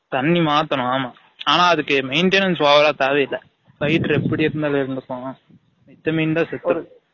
தன்னி மாதனும் ஆமா ஆனா அதுக்கு maintanance over ஆ தேவை இல்ல fighter எப்டி இருந்தாலும் இருந்துக்கும் மித்த மீன் தான் சேத்துரும்